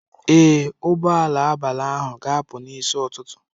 Ee, ụgbọ ala abalị ahụ ga-apụ n'isi ụtụtụ.